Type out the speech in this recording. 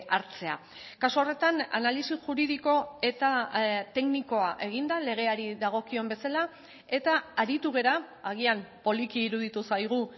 hartzea kasu horretan analisi juridiko eta teknikoa egin da legeari dagokion bezala eta aritu gara agian poliki iruditu zaigu